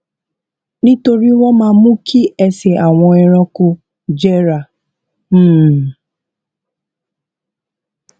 nítorí wón máa mú kí ẹsè àwọn ẹranko jẹrà um